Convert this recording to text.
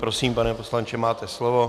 Prosím, pane poslanče, máte slovo.